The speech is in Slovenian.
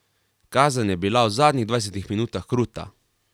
Kazen je bila v zadnjih dvajsetih minutah kruta.